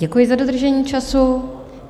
Děkuji za dodržení času.